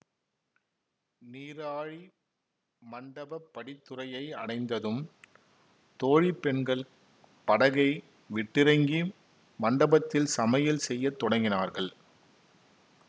நீராழி மண்டபப் படித்துறையை அடைந்ததும் தோழி பெண்கள் படகை விட்டிறங்கி மண்டபத்தில் சமையல் செய்ய தொடங்கினார்கள்